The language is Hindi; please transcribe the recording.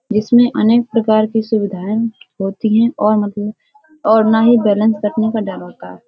जिसमे अनेक प्रकार की सुविधाएँ होती हैं। और मत और ना ही बैलेंस कटने का डर होता है।